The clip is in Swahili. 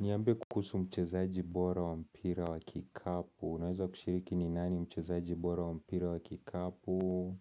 Niambie kuhusu mchezaji bora wa mpira wa kikapu. Unaweza kushiriki ni nani mchezaji bora wa mpira wa kikapu?